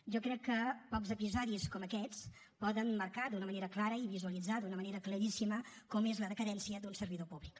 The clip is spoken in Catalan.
jo crec que pocs episodis com aquests poden marcar d’una manera clara i visualitzar d’una manera claríssima com és la decadència d’un servidor públic